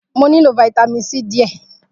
Mo nilo Vitamin C diẹ.